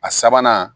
A sabanan